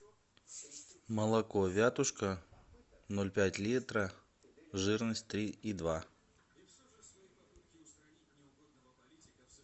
молоко вятушка ноль пять литра жирность три и два